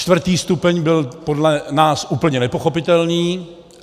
Čtvrtý stupeň byl podle nás úplně nepochopitelný.